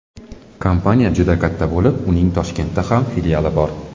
Kompaniya juda katta bo‘lib, uning Toshkentda ham filiali bor.